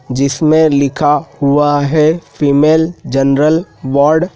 जिसमे लिखा हुआ है फीमेल जनरल वार्ड --